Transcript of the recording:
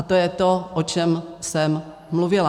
A to je to, o čem jsem mluvila.